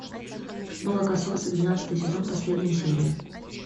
молокососы двенадцатый сезон последняя серия